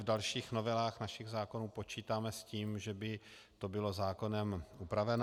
V dalších novelách našich zákonů počítáme s tím, že by to bylo zákonem upraveno.